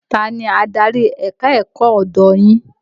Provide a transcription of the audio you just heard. Ta ni adarí ẹ̀ka-ẹ̀kọ́ ọ̀dọ̀ yín?